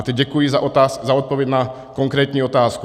A teď děkuji za odpověď na konkrétní otázku.